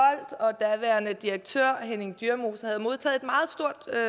og daværende direktør henning dyremose havde modtaget